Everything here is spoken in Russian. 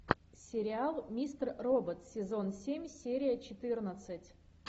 сериал мистер робот сезон семь серия четырнадцать